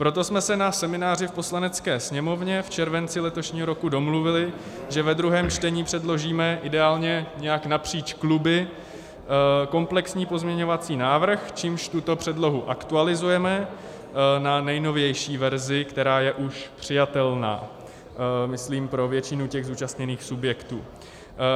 Proto jsme se na semináři v Poslanecké sněmovně v červenci letošního roku domluvili, že ve druhém čtení předložíme ideálně nějak napříč kluby komplexní pozměňovací návrh, čímž tuto předlohu aktualizujeme na nejnovější verzi, která je už přijatelná, myslím, pro většinu těch zúčastněných subjektů.